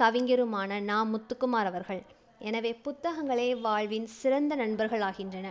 கவிஞருமான நா முத்துக்குமார் அவர்கள். எனவே புத்தகங்களே வாழ்வில் சிறந்த நண்பர்களாகின்றன.